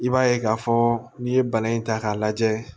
I b'a ye k'a fɔ n'i ye bana in ta k'a lajɛ